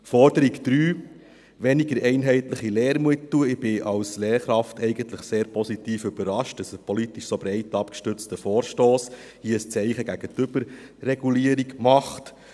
Forderung 3, weniger einheitliche Lehrmittel: Ich bin als Lehrkraft eigentlich sehr positiv überrascht, dass ein politisch so breit abgestützter Vorstoss hier ein Zeichen gegen die Überregulierung setzt.